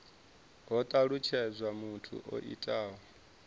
ho talutshedzwa muthu o itaho